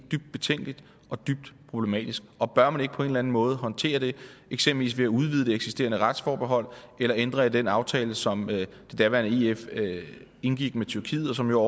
dybt betænkeligt og dybt problematisk og bør man ikke på en eller anden måde håndtere det eksempelvis ved at udvide det eksisterende retsforbehold eller ændre i den aftale som det daværende ef indgik med tyrkiet og som jo